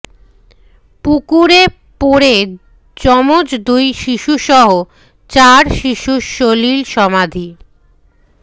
পুকুরে পড়ে যমজ দুই শিশুসহ চার শিশুর সলিল সমাধি